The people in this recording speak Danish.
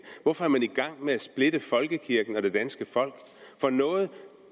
hvorfor er man i gang med at splitte folkekirken og det danske folk for noget